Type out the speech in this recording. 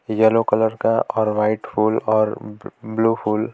yellow colour का और white फुल और ब्लू फुल--